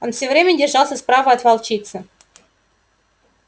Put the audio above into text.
он все время держался справа от волчицы